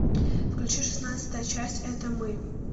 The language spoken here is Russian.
включи шестнадцатая часть это мы